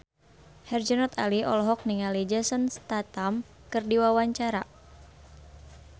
Herjunot Ali olohok ningali Jason Statham keur diwawancara